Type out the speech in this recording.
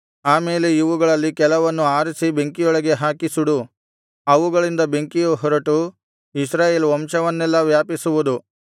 ಆಮೇಲೆ ಇವುಗಳಲ್ಲಿ ಕೆಲವನ್ನು ಆರಿಸಿ ಬೆಂಕಿಯೊಳಗೆ ಹಾಕಿ ಸುಡು ಅವುಗಳಿಂದ ಬೆಂಕಿಯು ಹೊರಟು ಇಸ್ರಾಯೇಲ್ ವಂಶವನ್ನೆಲ್ಲಾ ವ್ಯಾಪಿಸುವುದು